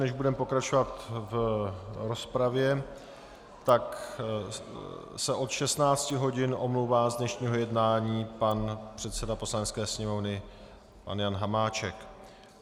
Než budeme pokračovat v rozpravě, tak se od 16 hodin omlouvá z dnešního jednání pan předseda Poslanecké sněmovny pan Jan Hamáček.